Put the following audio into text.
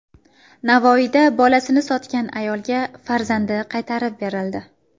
Navoiyda bolasini sotgan ayolga farzandi qaytarib berildi.